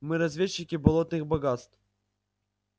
мы разведчики болотных богатств